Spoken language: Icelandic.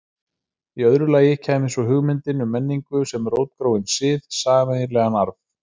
Í öðru lagi kæmi svo hugmyndin um menningu sem rótgróinn sið, sameiginlegan arf.